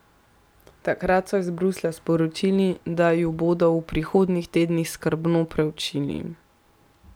Takrat so iz Bruslja sporočili, da ju bodo v prihodnjih tednih skrbno preučili.